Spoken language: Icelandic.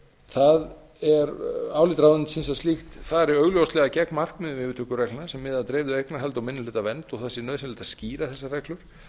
það er álit ráðuneytisins að slíkt fari augljóslega gegn markmiðum yfirtökureglna sem miða að dreifðu eignarhaldi og minnihlutavernd og það sé nauðsynlegt að skýra þessar reglur